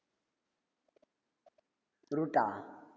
route ஆ